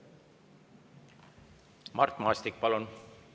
Mart Maastik, palun!